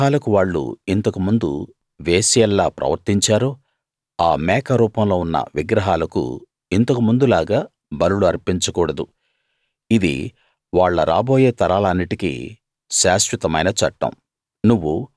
ఏ విగ్రహాలకు వాళ్ళు ఇంతకు ముందు వేశ్యల్లా ప్రవర్తించారో ఆ మేక రూపంలో ఉన్న విగ్రహాలకు ఇంతకు ముందులాగా బలులు అర్పించకూడదు ఇది వాళ్ళ రాబోయే తరాలన్నిటికీ శాశ్వతమైన చట్టం